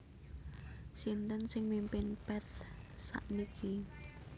Sinten sing mimpin Path sakniki